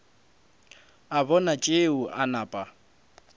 a bona tšeo a napa